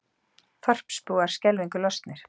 Þorpsbúar skelfingu lostnir